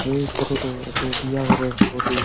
এই ফটো -টো একটো বিয়া ঘরের বটে।